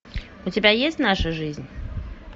у тебя есть наша жизнь